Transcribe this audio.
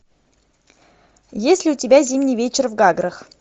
есть ли у тебя зимний вечер в гаграх